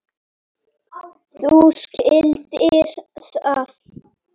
Þú skildir það.